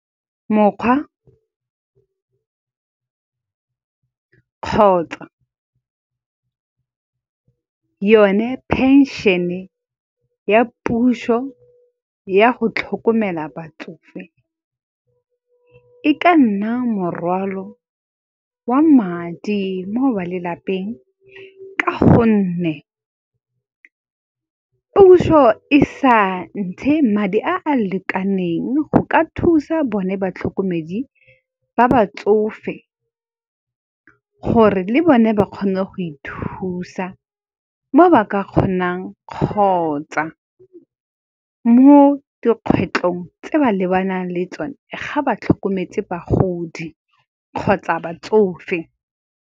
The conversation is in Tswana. Mokgwa kgotsa yone phenšene ya puso ya go tlhokomela batsofe, e ka nna morwalo wa madi mo ba lelapeng. Ka gonne puso e sa ntshe madi a a lekaneng go ka thusa bone batlhokomedi ba batsofe, gore le bone ba kgone go ithusa mo ba ka kgonang kgotsa mo dikgwetlhong tse ba lebanang le tsone, ga ba tlhokometse bagodi kgotsa batsofe.